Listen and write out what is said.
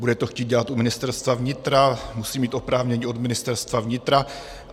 Bude to chtít dělat u Ministerstva vnitra, musí mít oprávnění od Ministerstva vnitra.